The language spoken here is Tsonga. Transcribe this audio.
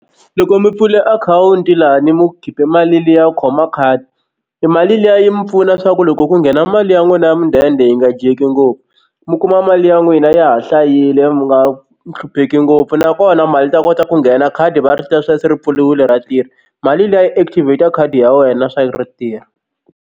Loko mi pfule akhawunti lani mu khipe mali liya khoma khadi i mali liya yi mi pfuna swa ku loko ku nghena mali ya n'wina ya mudende yi nga dyeki ngopfu mi kuma mali ya n'wina ya ha hlayile mi nga hlupheki ngopfu nakona mali yi ta kota ku nghena khadi va ri ta swa ku se ri pfuriwile ra tirha mali liya yi active ya khadi ya wena swa ri tirha.